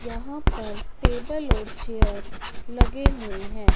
यहां पर टेबल और चेयर लगे हुए हैं।